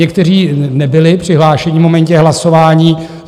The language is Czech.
Někteří nebyli přihlášení v momentě hlasování.